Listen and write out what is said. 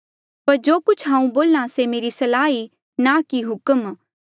पर जो कुछ हांऊँ बोल्हा से मेरी सलाह ई ना कि हुक्मा